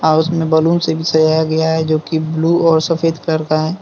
House में balloon से भी सजाया गया है जो कि ब्लू और सफेद कलर का है।